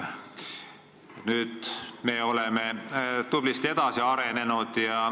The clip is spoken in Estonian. Nüüd me oleme tublisti edasi arenenud.